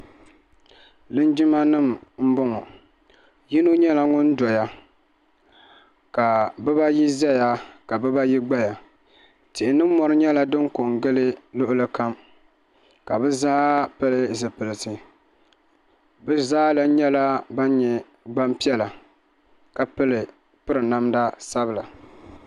lijimanim n bɔ ŋɔ yino nyɛla ŋɔ doya ka bibaayi zaya ka bibaayi gbaya tihi ni mori nyɛla din ko n gili luɣili kam ka bɛ zaa pili zɛpilisi bɛ zaa lan nyɛla bani nyɛ gban piɛla ka piri namda sabila